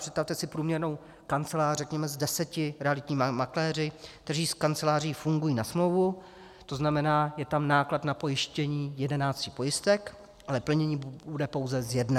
Představte si průměrnou kancelář, řekněme s deseti realitními makléři, kteří s kanceláří fungují na smlouvu, to znamená, je tam náklad na pojištění jedenácti pojistek, ale plnění bude pouze z jedné.